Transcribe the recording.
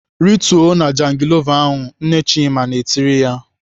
"Rituo na jangilova ahụ!" Nne Chima na-etiri ya.